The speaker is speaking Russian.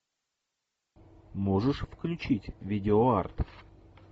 можешь включить видео арт